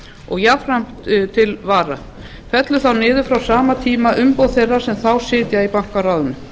og jafnframt til vara fellur þá niður frá sama tíma umboð þeirra sem þá sitja í bankaráðinu